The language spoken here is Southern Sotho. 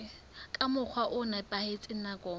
ka mokgwa o nepahetseng nakong